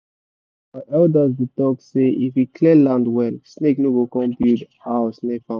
our elders dey talk say if you clear land well snake no go come build house near farm